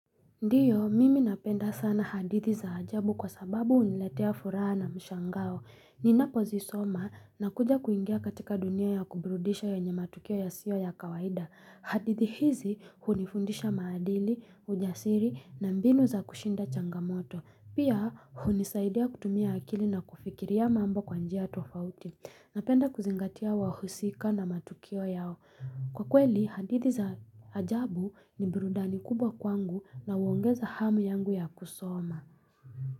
Ndiyo, mimi napenda sana hadithi za ajabu kwa sababu uniletea furaha na mshangao. Ninapo zisoma na kuja kuingia katika dunia ya kubrudisha yenye matukio ya siyo ya kawaida. Hadithi hizi hunifundisha maadili, ujasiri na mbinu za kushinda changamoto. Pia, hunisaidia kutumia akili na kufikiria mambo kwanjia yatofauti. Napenda kuzingatia wahusika na matukio yao. Kwa kweli, hadithi za ajabu ni birudani kubwa kwangu na uongeza hamu yangu ya kusoma.